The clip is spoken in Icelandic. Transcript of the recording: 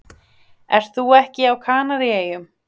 Ert þú ekki á Kanaríeyjum?